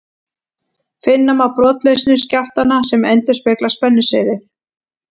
Finna má brotlausnir skjálftanna sem endurspegla spennusviðið.